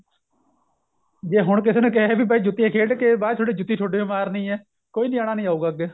ਜੇ ਹੁਣ ਕਿਸੇ ਨੂੰ ਕਹੇ ਬਾਈ ਜੁੱਤੀਆਂ ਖੇਡ ਕੇ ਬਾਚ ਜੁੱਤੀ ਤੁਹਾਡੇ ਈ ਮਾਰਨੀ ਏ ਕੋਈ ਨਿਆਣਾ ਨਹੀਂ ਆਉਗਾ ਅੱਗੇ